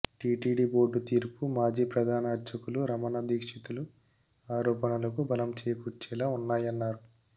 TTD board తీరు మాజీ ప్రధాన అర్చకులు రమణ దీక్షితులు ఆరోపణలకు బలం చేకూర్చేలా ఉన్నాయన్నారు